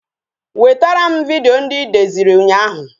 Wetara m vidiyo ndị I deziri ụnyaahụ